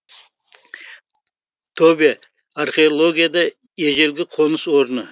тобе археологияда ежелгі қоныс орны